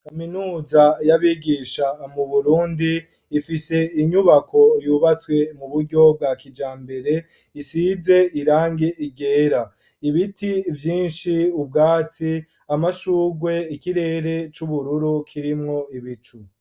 Kaminuza y'abigisha mu Burundi ifise inyubako yubatswe mu buryo bwa kijambere isize irangi ryera, ibiti vyinshi, ubwatsi, amashurwe, ikirere c'ubururu kirimwo ibicu.